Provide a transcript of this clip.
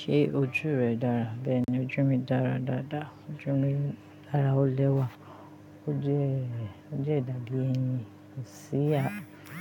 Ṣé ojú rẹ dára? Bẹ́ẹ̀ni, ojú mi dára dáadáa. Ojú mi dára ó lẹ́wà. Ó jẹ́, ó jẹ́ ìdàbí ẹni. Kò sí a,